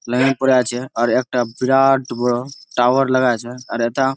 লাইনে পরে আছে। আর একটা বিরাট বড় টাওয়ার লাগায়াছে। আর এইটা--